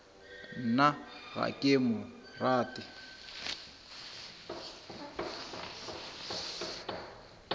nna ga ke mo rate